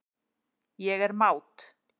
Ég er mát.